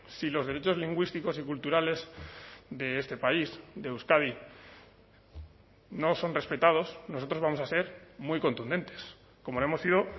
si los derechos lingüísticos y culturales de este país de euskadi no son respetados nosotros vamos a ser muy contundentes como lo hemos sido